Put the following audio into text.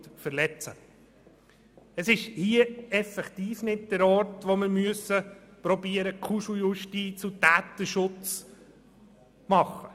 Es ist hier effektiv nicht der Ort, wo wir versuchen müssen, Kuscheljustiz und Täterschutz zu betreiben.